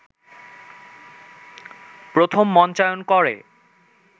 প্রথম মঞ্চায়ন করে